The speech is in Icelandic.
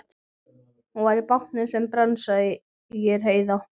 Hann var í bátnum sem brann, sagði Heiða.